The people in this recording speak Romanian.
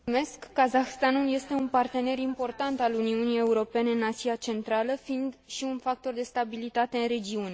Kazahstanul este un partener important al Uniunii Europene în Asia Centrală, fiind și un factor de stabilitate în regiune.